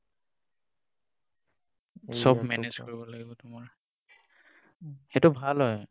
চব Manage কৰিব লাগিব তোমাৰ সেইটো ভাল হয়।